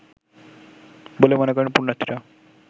বলে মনে করেন পুন্যার্থীরা